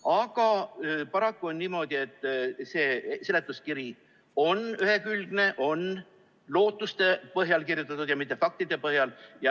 Aga paraku on niimoodi, et seletuskiri on ühekülgne, on kirjutatud lootuste põhjal ja mitte faktide põhjal.